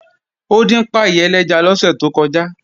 Ó dín páì ẹlẹ́ja lọ́sẹ̀ tó kọjá